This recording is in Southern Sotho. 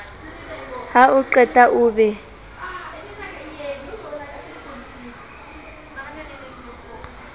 ha o qeta o be